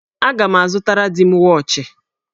Aga m azụtara di m wọọchị.